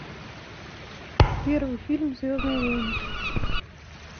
первый фильм звездные войны